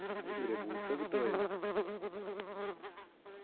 അത് ശെരിയാ boots ഒക്കെ ഇട്ട് പോയാ മതി